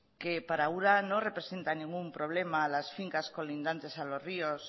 que para ura no representa ningún problema las fincas colindantes a los ríos